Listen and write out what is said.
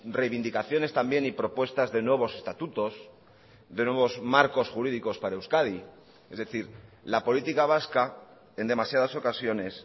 reivindicaciones también y propuestas de nuevos estatutos de nuevos marcos jurídicos para euskadi es decir la política vasca en demasiadas ocasiones